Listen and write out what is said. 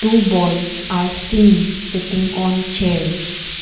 two boys are seen sitting on chairs.